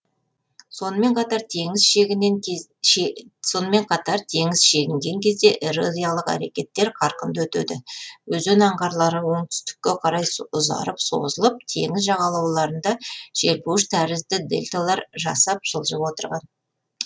сонымен қатар теңіз шегінген кезде эрозиялық әрекеттер қарқынды өтеді өзен аңғарлары оңтүстікке қарай ұзарып созылып теңіз жағалауларында желпуіш тәрізді дельталар жасап жылжып отырған